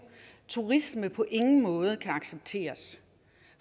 turisme på ingen måde kan accepteres